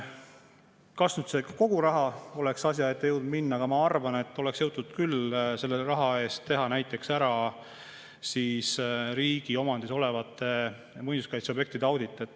Kas nüüd kogu raha oleks asja ette jõudnud minna, aga ma arvan, et oleks jõutud selle raha eest teha näiteks ära riigi omandis olevate muinsuskaitseobjektide audit.